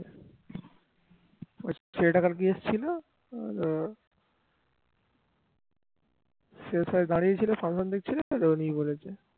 সে তাহলে দাঁড়িয়ে ছিল তখনই বলেছে